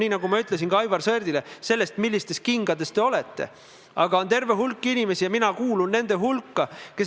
Täna on meil selliseid platvorme või raudteejaamasid 13: Kiisa, Kohila, Rapla, Lelle, Türi, Viljandi, siis on Kehra, Tapa, Narva, Tamsalu ja Tartu ning Koidula ja Valga.